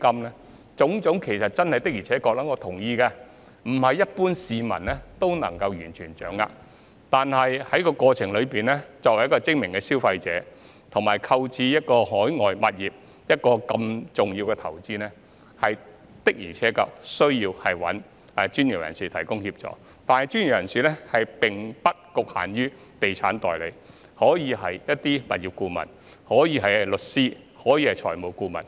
對於這種種情況，我同意不是一般市民可以完全掌握得到，但在這過程中，作為精明的消費者，以及作出購買海外物業如此重要的投資決定時，的確需要向專業人士尋求協助，但專業人士並不局限於地產代理，也可以是物業顧問、律師或財務顧問。